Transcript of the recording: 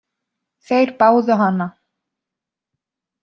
Þeir báðu hana.